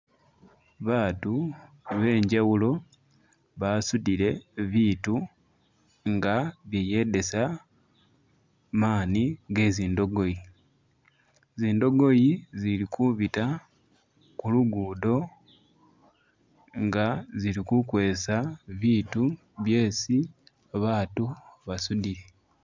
Baatu benjawulo basudile biitu nga biyedesa maani ge zindogoyi , zindogoyi zili kubiita kulugudo nga zili kukwesa biitu byesi baatu basudile